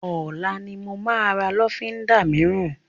Ọlá ni mo máa ra lọ́fíndà mìíràn